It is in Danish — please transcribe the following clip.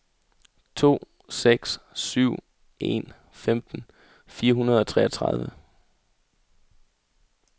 to seks syv en femten fire hundrede og treogtredive